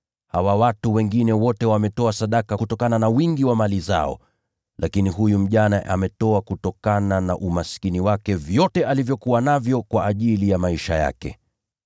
Hawa watu wengine wote wametoa sadaka kutokana na wingi wa mali zao. Lakini huyu mjane ametoa kutokana na umaskini wake vyote alivyokuwa navyo, hata kile alichohitaji ili kuishi.”